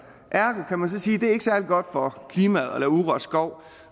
ergo kan man sige det er særlig godt for klimaet at lave urørt skov